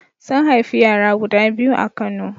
Sun haifi yara guda biyu a Kano.